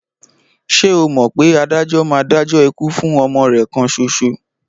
Ṣé o mọ̀ pé adájọ́ máa dájọ́ ikú fún ọmọ rẹ̀ kan ṣoṣo?